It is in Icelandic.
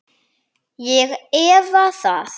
Ég efa það.